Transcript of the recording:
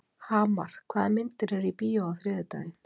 Hamar, hvaða myndir eru í bíó á þriðjudaginn?